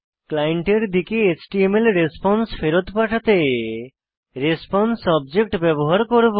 ক্লায়েন্টের দিকে এচটিএমএল রেসপন্সে ফেরৎ পাঠাতে রেসপন্সে অবজেক্ট ব্যবহার করব